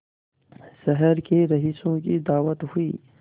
शहर के रईसों की दावत हुई